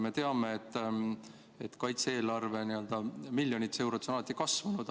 Me teame, et kaitse-eelarve on miljonites eurodes alati kasvanud.